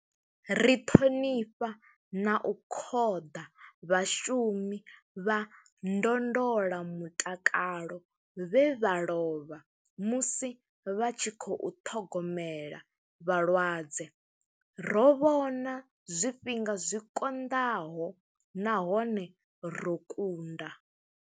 Ri ṱhonifha na u khoḓa vhashumi vha ndondola mutakalo vhe vha lovha musi vha tshi khou ṱhogomela vhalwadze. Ro vhona zwifhinga zwi konḓaho nahone ro kunda.